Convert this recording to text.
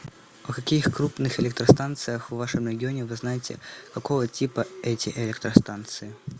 о каких крупных электростанциях в вашем регионе вы знаете какого типа эти электростанции